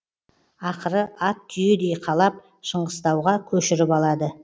ақыры ат түйедей қалап шыңғыстауға көшіріп алады